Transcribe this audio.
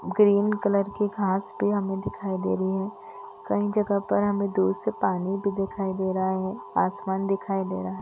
Green colour की घास पे हमें दिखाई दे रही है कहीं जगह पर हमें दूर से पानी भी दिखाई दे रहा है आसमान दिखाई दे रहा है।